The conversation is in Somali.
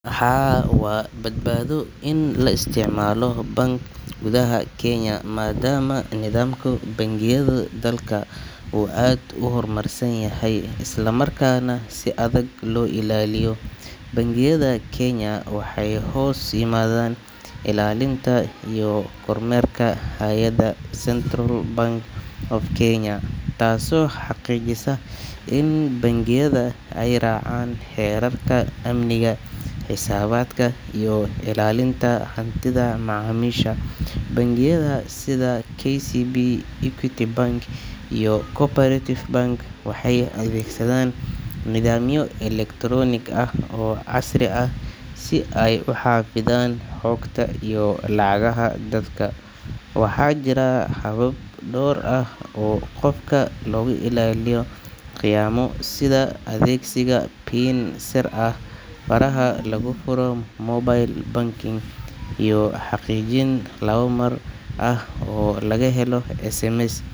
Haa, waa badbaado in la isticmaalo bank gudaha Kenya, maadaama nidaamka bangiyada dalka uu aad u horumarsan yahay isla markaana si adag loo ilaaliyo. Bangiyada Kenya waxay hoos yimaadaan ilaalinta iyo kormeerka hay’adda Central Bank of Kenya, taasoo xaqiijisa in bangiyada ay raacaan xeerarka amniga, xisaabaadka iyo ilaalinta hantida macaamiisha. Bangiyada sida KCB, Equity Bank iyo Co-operative Bank waxay adeegsadaan nidaamyo elektaroonik ah oo casri ah si ay u xafidaan xogta iyo lacagaha dadka. Waxaa jira habab dhowr ah oo qofka looga ilaalinayo khiyaamo sida adeegsiga PIN sir ah, faraha lagu furo mobile banking iyo xaqiijin laba-mar ah oo lagu helo SMS.